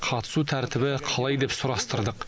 қатысу тәртібі қалай деп сұрастырдық